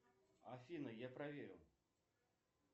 афина я проверю